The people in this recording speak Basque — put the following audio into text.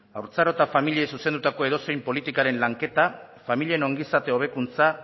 haurtzaro eta familiei zuzendutako edozein politikaren lanketa familien ongizate hobekuntza